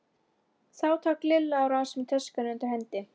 Þá tók Lilla á rás með töskuna undir hendinni.